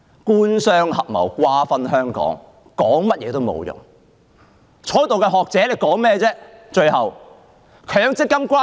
官商合謀，瓜分香港，說甚麼也沒用，在座的學者又在白說些甚麼呢？